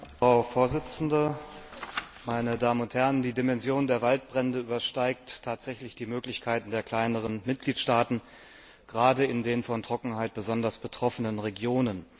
Frau Präsidentin! Die Dimension der Waldbrände übersteigt tatsächlich die Möglichkeiten der kleineren Mitgliedstaaten, gerade in den von Trockenheit besonders betroffenen Regionen.